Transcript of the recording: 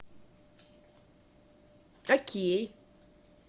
окей